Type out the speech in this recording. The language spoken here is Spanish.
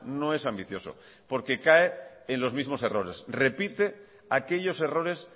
no es ambicioso porque cae en los mismos errores repite aquellos errores